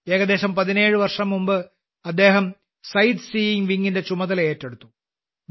ഏകദേശം 17 വർഷംമുമ്പ് അദ്ദേഹം സൈറ്റ് സീയിങ് വിങ്ങിന്റെ ചുമതലയേറ്റു